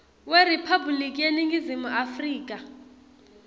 weriphabhulikhi yeningizimu afrika